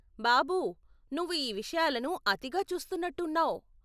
బాబూ, నువ్వు ఈ విషయాలను అతిగా చూస్తున్నట్టు ఉన్నావ్.